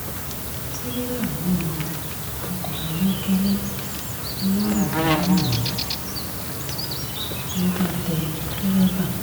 tìrẹ̀là wó lu ọkọ̀ ayọ́kẹ́lẹ́ lọ̀rímèrunmù ló bá tẹ̀ dèrèbà pa